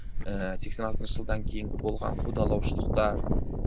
ііі сексен алтыншы жылдан кейінгі болған қудалаушылықтар